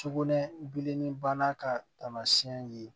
Sugunɛ bilenni bana ka taamasiɲɛ ye